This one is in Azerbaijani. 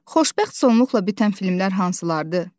Xoşbəxt sonluqla bitən filmlər hansılardır?